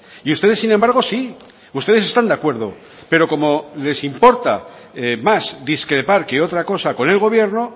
y ustedes sin embargo sí ustedes están de acuerdo pero como les importa más discrepar que otra cosa con el gobierno